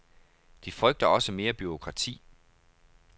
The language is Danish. De frygter også mere bureaukrati.